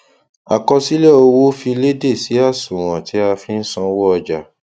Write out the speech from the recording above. àkọsílẹ owó fi léde sí àṣùwọn tí a fi n sanwó ọjà